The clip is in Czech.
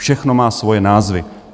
Všechno má svoje názvy.